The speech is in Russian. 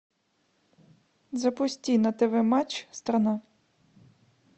запусти на тв матч страна